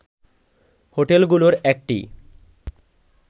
হোটেলগুলোর একটি